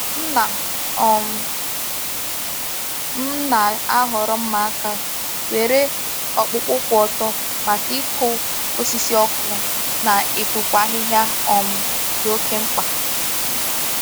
Nna um m na-ahọrọ mma aka nwere ọkpụkpụ kwụ ọtọ maka ịkụ osisi ọkụ na ịpụpụ ahịhịa um dị oke mkpa.